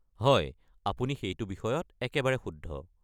হয়, আপুনি সেইটো বিষয়ত একেবাৰে শুদ্ধ।